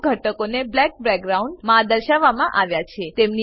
અમુક ઘટકોને બ્લેક બેકગ્રાઉન્ડમાં દર્શાવવામાં આવ્યા છે